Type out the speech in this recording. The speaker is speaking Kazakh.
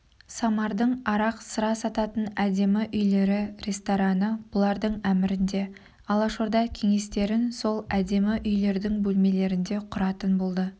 самардың арақ-сыра сататын әдемі үйлері рестораны бұлардың әмірінде алашорда кеңестерін сол әдемі үйлердің бөлмелерінде құратын болды